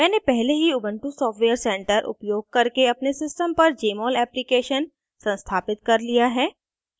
मैंने पहले ही ubuntu सॉफ्टवेयर center उपयोग करके अपने system पर jmol application संस्थापित कर लिया है